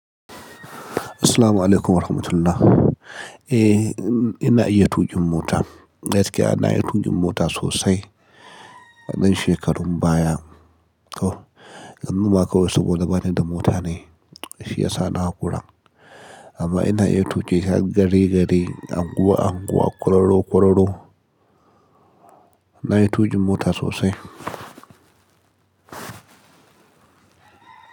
Assalamualaikum warahmatullah. Eh, n-na iya tuƙin mota. Gaskiya na yi tuƙin mota sosai a dan shekarun baya. Ko. Yanzu ma kawai saboda bani da mota ne, shi ya sa na haƙura. Amma ina iya tuƙi har gari-gari, anguwa-anguwa, ƙwararo-ƙwararo. Na yi tuƙin mota sosai.